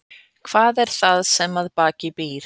Hvað er það sem að baki býr?